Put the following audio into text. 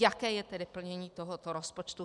Jaké je tedy plnění tohoto rozpočtu.